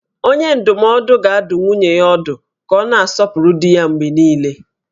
Onye ndụmọdụ ga-adụ nwunye ya ọdụ ka ọ na-asọpụrụ di ya mgbe niile